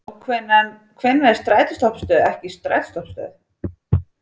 Og hvenær er strætóstoppistöð ekki strætóstoppistöð?